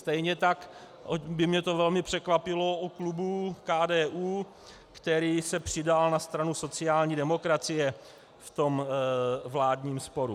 Stejně tak by mě to velmi překvapilo u klubu KDU, který se přidal na stranu sociální demokracie v tom vládním sporu.